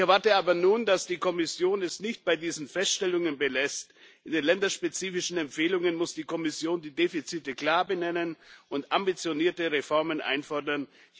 Ich erwarte aber nun, dass die Kommission es nicht bei diesen Feststellungen belässt. In den länderspezifischen Empfehlungen muss die Kommission die Defizite klar benennen und ambitionierte Reformen einfordern.